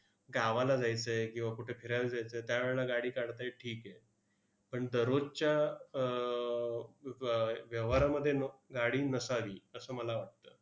गावाला जायचं आहे, किंवा कुठे फिरायला जायचं आहे, त्यावेळेला गाडी काढताय, ठीक आहे. पण दररोजच्या अह व्य व्यवहारामध्ये न गाडी नसावी असं मला वाटतं.